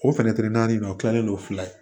O fɛnɛ naani in o kilalen no fila ye